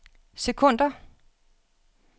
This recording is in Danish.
sekunder